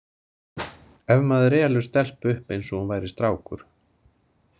Ef maður elur stelpu upp eins og hún væri strákur.